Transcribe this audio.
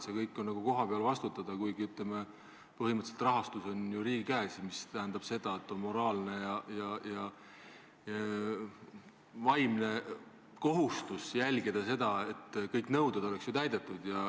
Et kõige eest tuleb kohapeal vastutada, kuid rahastus on ju riigi käes, mis tähendab, et on moraalne ja vaimne kohustus jälgida, et kõik nõuded oleks täidetud.